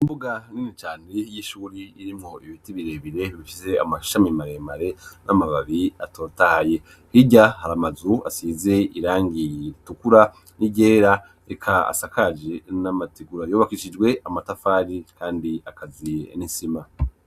Umbuga nini cane y'ishuri irimo iibiti birebire ibifize amashami maremare n'amababi atotaye higa hari amazu asize irangiye tukura n'igera reka asakaji n'amategura yobakishijwe amatafari kandi akazi n'isima.